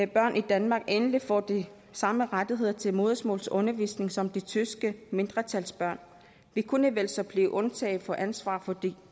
børn i danmark endelig få de samme rettigheder til modersmålsundervisning som de tyske mindretalsbørn vi kunne vel så blive undtaget for ansvar for de